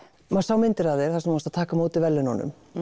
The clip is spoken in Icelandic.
maður sá myndir af þér þar sem þú ert að taka á móti verðlaununum